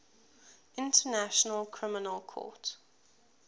international criminal court